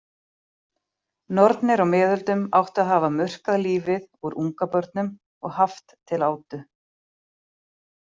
Nornir á miðöldum áttu að hafa murkað lífið úr ungabörnum og haft til átu.